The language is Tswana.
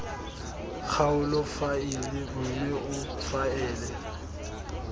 kgaolo faele mme o faele